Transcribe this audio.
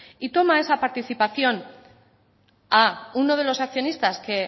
y toma esa participación a uno de los accionistas que